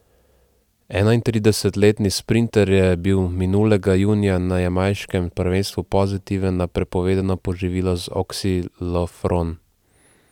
Enaintridesetletni sprinter je bil minulega junija na jamajškem prvenstvu pozitiven na prepovedano poživilo oksilofron.